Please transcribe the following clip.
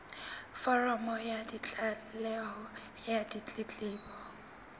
foromo ya tlaleho ya ditletlebo